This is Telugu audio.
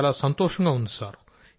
చాలా సంతోషంగా ఉన్నారు సార్